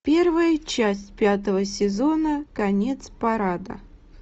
первая часть пятого сезона конец парада